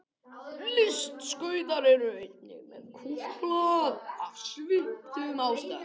Listskautar eru einnig með kúpt blað af svipuðum ástæðum.